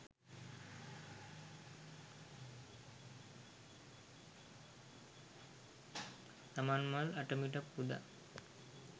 සමන්මල් අටමිටක් පුදා